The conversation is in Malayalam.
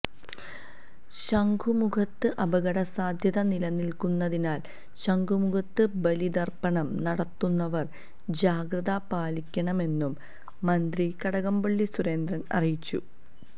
ശംഖുംമുഖത്ത് അപടകസാധ്യത നിലനിൽക്കുന്നതിനാൽ ശംഖുംമുഖത്ത് ബലിതർപ്പണം നടത്തുന്നവർ ജാഗ്രത പാലിക്കണമെന്നും മന്ത്രി കടകംപള്ളി സുരേന്ദ്രൻ അറിയിച്ചു